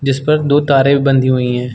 जिस पर दो तारें भी बंधी हुई हैं।